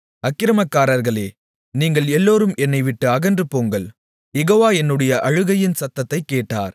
அக்கிரமக்காரர்களே நீங்கள் எல்லோரும் என்னைவிட்டு அகன்றுபோங்கள் யெகோவா என்னுடைய அழுகையின் சத்தத்தைக் கேட்டார்